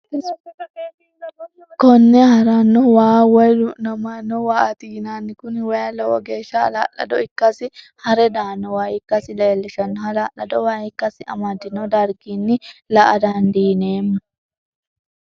Kone harano waa woyi du'namano waati yinanni. Kuni wayi lowo geesha halalado ikkasina hare daano waa ikkassi leellishano, lalalado waa ikkasi amadino darigina la'a dandineemo